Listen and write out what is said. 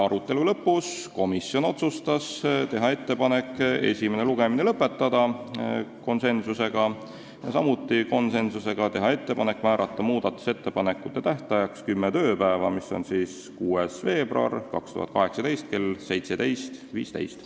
Arutelu lõpus otsustas komisjon konsensusega teha ettepaneku esimene lugemine lõpetada ja teha ettepaneku määrata muudatusettepanekute tähtajaks kümme tööpäeva, mis on 6. veebruar 2018 kell 17.15.